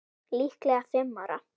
Líklega fimm ára.